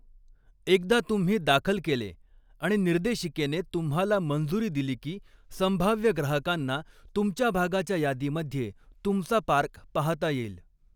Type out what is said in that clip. एकदा तुम्ही दाखल केले आणि निर्देशिकेने तुम्हाला मंजुरी दिली की, संभाव्य ग्राहकांना तुमच्या भागाच्या यादीमध्ये तुमचा पार्क पाहता येईल.